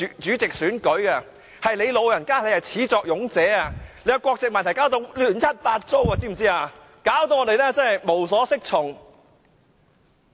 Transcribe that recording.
主席，你是始作俑者，你的國籍問題把議會弄得亂七八糟，令我們無所適從。